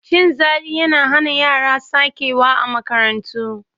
Cin zali yana hana yara sakewa a makarantu.